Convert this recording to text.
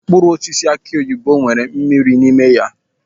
Mkpụrụ osisi aki oyibo nwere mmiri n'ime ya.